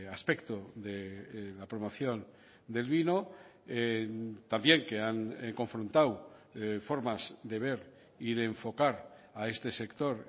aspecto de la promoción del vino también que han confrontado formas de ver y de enfocar a este sector